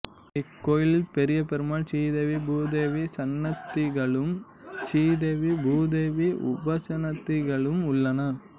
இக்கோயிலில் பெரியபெருமாள் சீதேவி பூதேவி சன்னதிகளும் சீதேவி பூதேவி உபசன்னதிகளும் உள்ளன